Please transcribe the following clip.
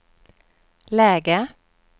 läge